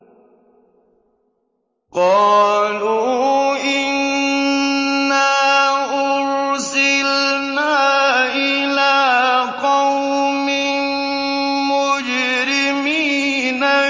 قَالُوا إِنَّا أُرْسِلْنَا إِلَىٰ قَوْمٍ مُّجْرِمِينَ